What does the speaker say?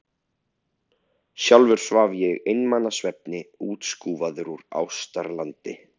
Sjálfur svaf ég einmana svefni, útskúfaður úr ástarlandi.